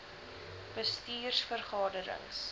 bestuurs vergade rings